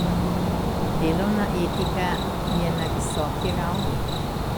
Delovna etika je na visoki ravni.